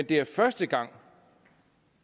det er første gang